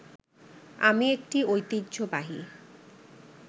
আমি একটি ঐতিহ্যবাহী